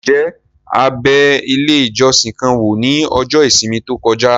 Ǹjẹ́ a bẹ ilé ìjọsìn kan wò ní ọjọ́ ìsinmi tó kọjá?